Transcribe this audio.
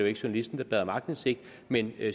ikke journalisten der bad om aktindsigt men